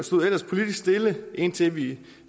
stod ellers politisk stille indtil vi